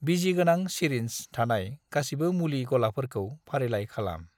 बिजिगोनां syringe थानाय गासिबो मुलि गलाफोरखौ फारिलाइ खालाम।